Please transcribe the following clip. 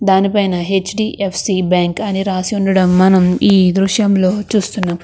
దాని పైన HDFC bank అని రాసి ఉండడం మనం ఈ దృశ్యంలో చేస్తున్నాం.